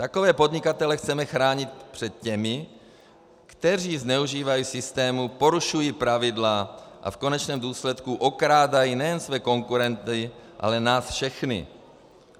Takové podnikatele chceme chránit před těmi, kteří zneužívají systému, porušují pravidla a v konečném důsledku okrádají nejen své konkurenty, ale nás všechny.